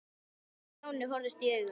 Vala og Stjáni horfðust í augu.